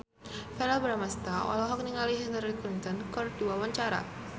Verrell Bramastra olohok ningali Hillary Clinton keur diwawancara